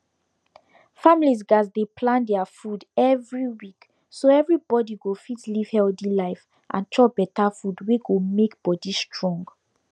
families gatz dey plan their food every week so everybody go fit live healthy life and chop better food wey go make body strong